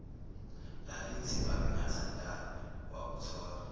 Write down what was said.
lalithi babengathandani wakuthola